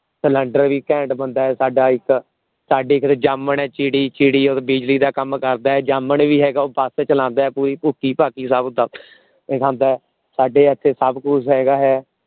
cylinder ਵੀ ਘੈਂਟ ਬੰਦਾ ਹੈ ਸਾਡਾ ਇੱਕ ਸਾਡੇ ਇਕ ਜਾਮਣ ਹੈ ਚਿੜੀ ਚਿੜੀ ਬਿਜਲੀ ਦਾ ਕੰਮ ਕਰਦਾ ਹੈ ਜਾਮਣ ਵੀ ਹੈਗਾ ਉਹ ਚਲਾਂਦਾ ਹੈ ਪੂਰੀ ਭੁੱਖੀ ਭਾਖਿ ਸਭ ਦੱਬ ਕੇ ਖਾਂਦਾ ਹੈ ਸਾਡੇ ਇਥੇ ਸਭ ਕੁਛ ਹੈਗਾ ਹੈ